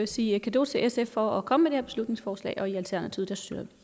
sige cadeau til sf for at komme her beslutningsforslag i alternativet